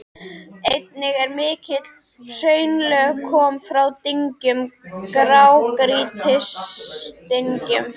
Einnig eru mikil hraunlög komin frá dyngjum, grágrýtisdyngjum.